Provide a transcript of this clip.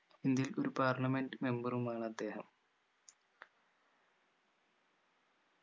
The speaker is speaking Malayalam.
ഇന്ത്യയിൽ ഒരു parliament member ഉമാണദ്ദേഹം